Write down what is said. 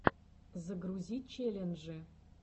загрузи челленджи